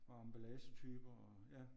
Og emballagetyper og ja